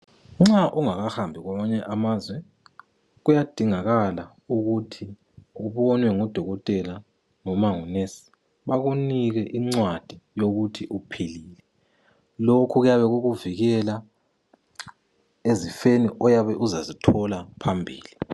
Nxa ungakahamba kwamanye amazwe kuyadingakala ukuthi ubonwe ngudokotela noma ngunesi bakunike incwadi yokuthi uphilile lokhu kuyabe kukuvikela ezifeni oyabe uzazithola phambili.